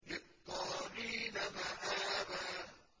لِّلطَّاغِينَ مَآبًا